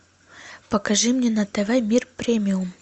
покажи мне на тв мир премиум